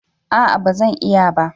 A'a ba Zan iya ba